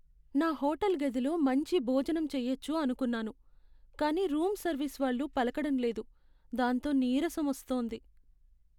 నా హోటల్ గదిలో మంచి భోజనం చెయ్యొచ్చు అనుకున్నాను, కానీ రూమ్ సర్వీస్ వాళ్ళు పలకడం లేదు, దాంతో నీరసం వస్తోంది.